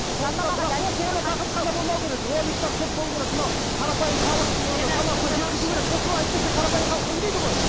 осы ғана тақырып қана болмау керек роликтер көп болу керек мынау қарапайым халық санасына жеткізу керек сосын әйтпесе қарапайым халық білмейді ғой